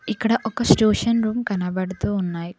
ఇక్కడ ఒక tuition room కనబడుతూ ఉన్నాయి.